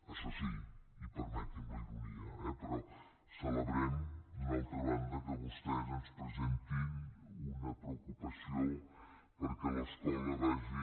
això sí i permeti’m la ironia eh però celebrem d’una altra banda que vostès ens presentin una preocupació perquè l’escola vagi